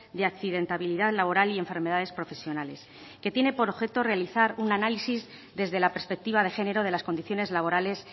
de accidentabilidad laboral y enfermedades profesionales que tiene por objeto realizar un análisis desde la perspectiva de género de las condiciones laborales